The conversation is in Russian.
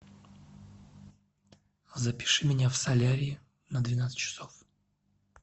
запиши меня в солярий на двенадцать часов